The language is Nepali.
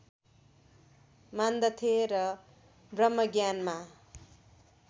मान्दथे र ब्रह्मज्ञानमा